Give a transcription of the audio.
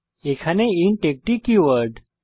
এখানে ইন্ট একটি কিওয়ার্ড